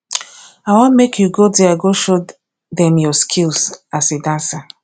i wan make you go there show dem your skills as a dancer